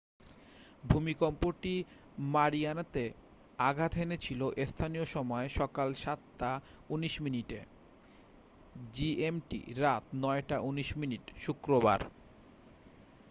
ভূমিকম্পটি মারিয়ানাতে আঘাত হেনেছিল স্থানীয় সময় সকাল ৭ঃ১৯ মিনিটে gmt রাত ৯ঃ১৯ মিনিট শুক্রবার।